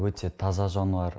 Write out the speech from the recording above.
өте таза жануар